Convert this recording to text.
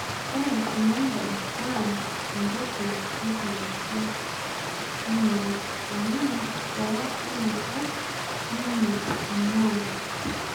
Ore Kimondo naa entoki enkihg'asia inye amu boo enakop ninye eing'ua